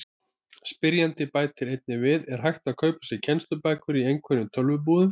Spyrjandi bætir einnig við: Er hægt að kaupa sér kennslubækur í einhverjum tölvubúðum?